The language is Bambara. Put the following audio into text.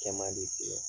Kɛ man di ten